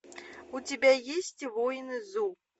у тебя есть воины зу